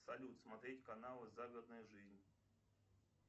салют смотреть каналы загородная жизнь